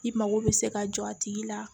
I mago bɛ se ka jɔ a tigi la